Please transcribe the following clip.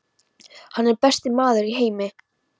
Hann er besti maður í heimi.